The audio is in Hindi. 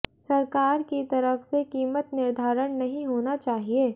सरकार की तरफ से कीमत निर्धारण नहीं होना चाहिए